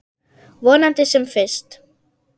Vonandi sem fyrst.